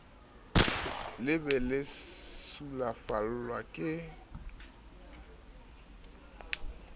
le be le sulafallwa ke